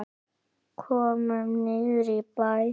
Komum niður í bæ!